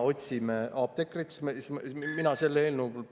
Mina selle eelnõu …